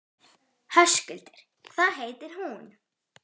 Höskuldur: Hvað heitir hún?